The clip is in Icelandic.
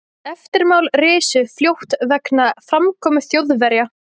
Eftirmál risu fljótt vegna framkomu Þjóðverja.